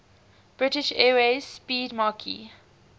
british airways 'speedmarque